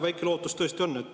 Väike lootus tõesti on.